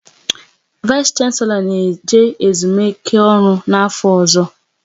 Vais Shanselo na eje ezumike ọrụ n'afọ ọzọ